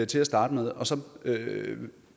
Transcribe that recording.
til at starte med og så